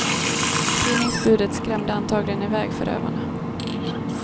Tidningsbudet skrämde antagligen i väg förövarna.